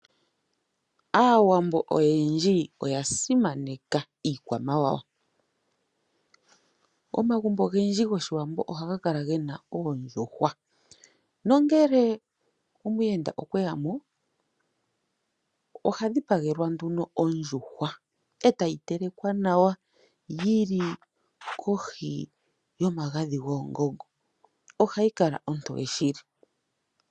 Aawambo oyendji oya simaneka iikwamawawa . Omagumbo ogendji gOshiwambo ohaga kala gena oondjuhwa nuuna mweya omuyenda oha dhipagelwa nduno oondjuhwa , etayi tekelwa nawa yili kohi yomagadhi goongongo . Ohayi Kala ontoye shili .